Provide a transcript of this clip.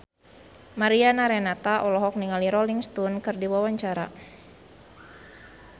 Mariana Renata olohok ningali Rolling Stone keur diwawancara